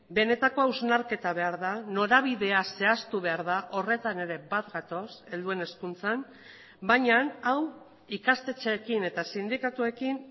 benetako hausnarketa behar da norabidea zehaztu behar da horretan ere bat gatoz helduen hezkuntzan baina hau ikastetxeekin eta sindikatuekin